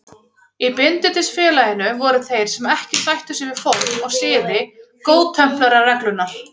Í Bindindisfélaginu voru þeir sem ekki sættu sig við form og siði Góðtemplarareglunnar.